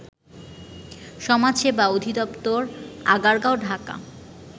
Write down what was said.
সমাজসেবা অধিদপ্তর আগারগাঁও ঢাকা